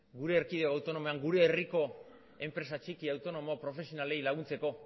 gure erkidego autonomoan gure herriko enpresa txiki autonomo profesionalei laguntzeko